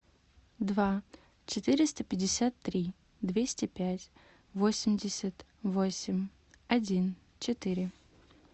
два четыреста пятьдесят три двести пять восемьдесят восемь один четыре